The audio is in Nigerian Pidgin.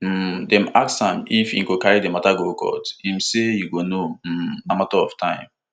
um dem ask am if e go carry di mata go court im say you go um know na mata of time